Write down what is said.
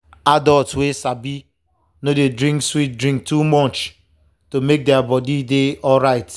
adults wey sabi no dey drink sweet drink too much to make their body dey alright.